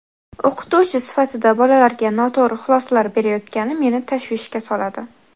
O‘qituvchi sifatida bolalarga noto‘g‘ri xulosalar berayotgani meni tashvishga soladi.